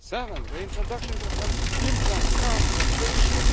seventh, the introduction of an implant card for patients